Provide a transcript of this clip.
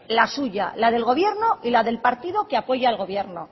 la suya la del gobierno y la del partido que apoya al gobierno